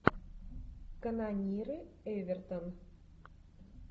канониры эвертон